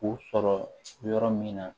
U sɔrɔ yɔrɔ min na